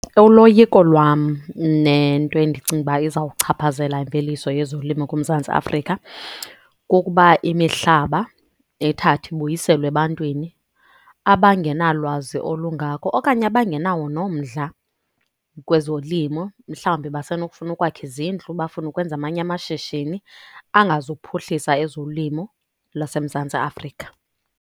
Uloyiko lwam nento endicinga ukuba izawuchaphazela imveliso yezolimo kuMzantsi Afrika, kukuba imihlaba ithathwe ibuyiselwe ebantwini abangenalwazi olungako okanye abangenawo nomdla kwezolimo. Mhlawumbi basenokufuna ukwakha izindlu, bafune ukwenza amanye amashishini angazukuphuhlisa ezolimo lwaseMzantsi Afrika.